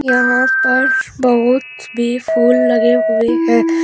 यहां पर बहुत भी फूल लगे हुए हैं।